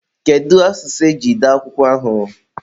kedu asụsụ eji dee akwụkwọ ahụ?